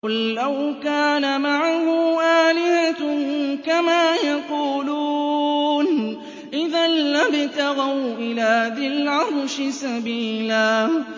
قُل لَّوْ كَانَ مَعَهُ آلِهَةٌ كَمَا يَقُولُونَ إِذًا لَّابْتَغَوْا إِلَىٰ ذِي الْعَرْشِ سَبِيلًا